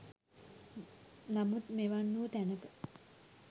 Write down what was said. නමුත් මෙවන් වූ තැනක